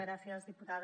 gràcies diputada